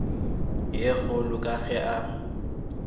ye kgolo ka ge a